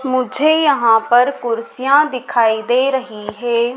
मुझे यहां पर कुर्सियां दिखाई दे रही है।